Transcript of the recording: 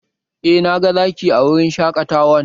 Eh, na ga Zaki a wurin shaƙatawan